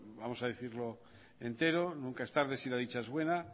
vamos a decirlo entero nunca es tarde si la dicha es buena